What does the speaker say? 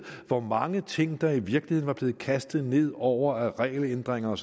hvor mange ting der i virkeligheden var blevet kastet ned over det af regelændringer